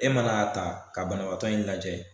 E mana ta ta ka banabagatɔ in lajɛ .